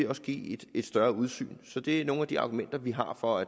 vil give et større udsyn så det er nogle af de argumenter vi har for